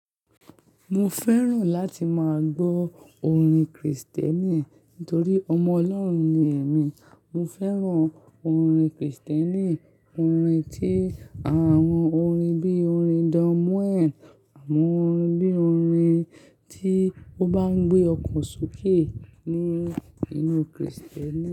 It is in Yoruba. Mo fẹ́ràn láti máa gbọ́ orin Kristẹni nítorí ọmọ Ọlọ́run ni èmi. Mo fẹ́ràn orin Kristẹni, orin tí àwọn orin bí orin Don Moen, àwọn orin bí orin tí ó bá ń gbé ọkàn ṣokẹ́ nínú, inú Kristẹni.